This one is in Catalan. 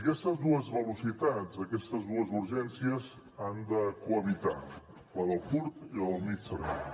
aquestes dues velocitats aquestes dues urgències han de cohabitar la del curt i la del mitjà termini